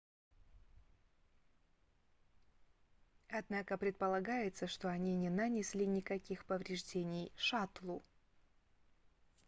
однако предполагается что они не нанесли никаких повреждений шаттлу